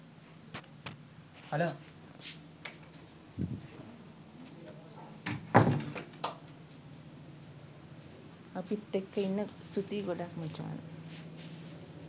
අපිත් එක්ක ඉන්න ස්තූතියි ‍ගො‍ඩාක්‍ ම‍චාන්‍.